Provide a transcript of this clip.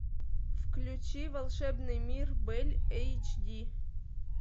включи волшебный мир бель эйч ди